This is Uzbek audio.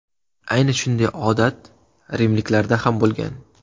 Ayni shunday odat rimliklarda ham bo‘lgan.